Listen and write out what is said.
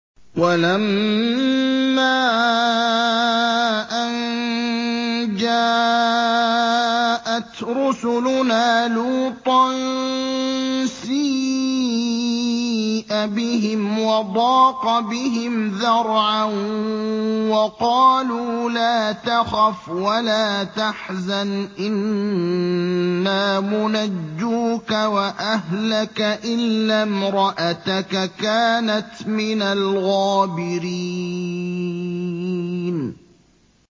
وَلَمَّا أَن جَاءَتْ رُسُلُنَا لُوطًا سِيءَ بِهِمْ وَضَاقَ بِهِمْ ذَرْعًا وَقَالُوا لَا تَخَفْ وَلَا تَحْزَنْ ۖ إِنَّا مُنَجُّوكَ وَأَهْلَكَ إِلَّا امْرَأَتَكَ كَانَتْ مِنَ الْغَابِرِينَ